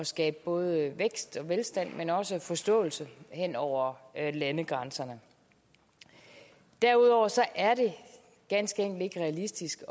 skabe både vækst og velstand men også forståelse hen over landegrænser derudover er det ganske enkelt ikke realistisk